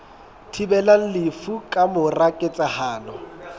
thibelang lefu ka mora ketsahalo